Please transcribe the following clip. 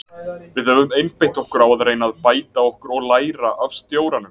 Við höfum einbeitt okkur á að reyna að bæta okkur og læra af stjóranum.